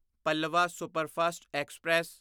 Pallavan superfast express